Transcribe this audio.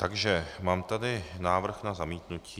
Takže mám tady návrh na zamítnutí.